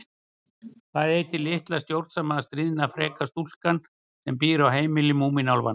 Hvað heitir litla stjórnsama, stríðna og freka stúlkan sem býr á heimili Múmínálfanna?